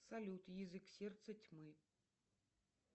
салют язык сердца тьмы